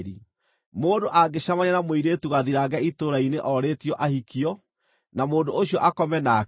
Mũndũ angĩcemania na mũirĩtu gathirange itũũra-inĩ orĩtio ahikio, na mũndũ ũcio akome nake,